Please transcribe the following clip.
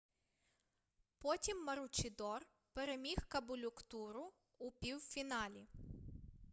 потім маручідор переміг каболюктуру у півфіналі